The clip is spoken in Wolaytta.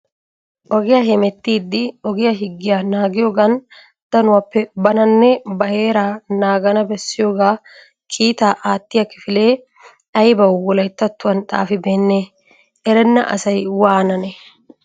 Ogiya hemmettidi ogiya higiya naagiyoogan dafuwappe bananne na heeraa naagana bessiyooga kiitta aattiya kifile aybba Wolayttattuwam xaafibeene? Erenn asay waananne?